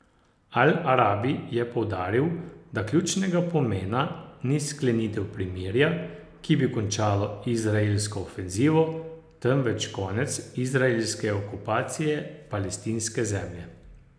Al Arabi je poudaril, da ključnega pomena ni sklenitev premirja, ki bi končalo izraelsko ofenzivo, temveč konec izraelske okupacije palestinske zemlje.